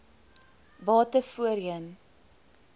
bate voorheen